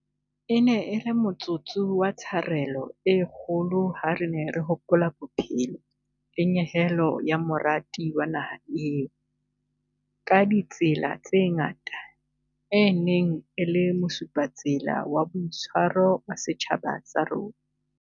E ne e le motsotso wa tsharelo e kgolo ha re ne re hopola bophelo le nyehelo ya morati wa naha eo, ka ditsela tse ngata, e neng e le mosupatsela wa boitshwaro wa setjhaba sa rona.